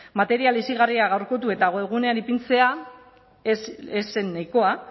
material hezigarria gaurkotu eta webgunean ipintzea ez zen nahikoa